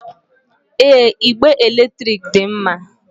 Èé, igbe èlétrị̀k dị mma.